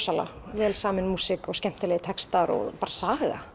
vel samin músík og skemmtilegir textar og bara saga